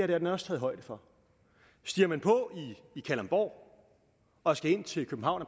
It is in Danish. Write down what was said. det er der også taget højde for stiger man på i kalundborg og skal ind til københavn og